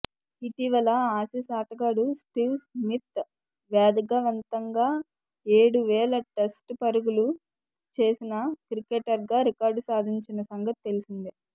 ఇటీవల ఆసీస్ ఆటగాడు Steve Smith వేగవంతంగా ఏడువేల టెస్టు పరుగులు చేసిన క్రికెటర్గా రికార్డు సాధించిన సంగతి తెలిసిందే